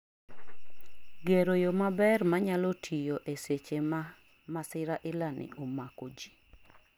gero yo maber minyalo tiyo e seche ma masira ilani omakoji